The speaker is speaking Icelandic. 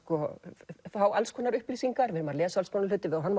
fá alls konar upplýsingar við lesum alls konar hluti horfum